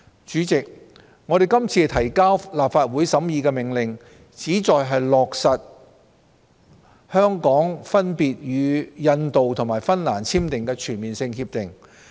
主席，我們今次提交立法會審議的命令，旨在落實香港分別與印度及芬蘭簽訂的全面性協定。